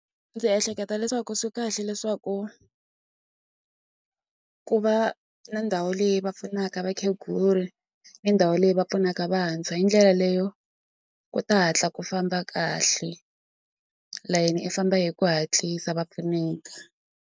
Ndzi ehleketa leswaku swi kahle leswaku ku va na ndhawu leyi va pfunaka vakheguri ni ndhawu leyi va pfunaka vantshwa hi ndlela leyo ku ta hatla ku famba kahle layeni i famba hi ku hatlisa va pfuneka.